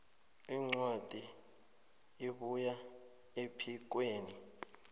incwadi ebuya ephikweni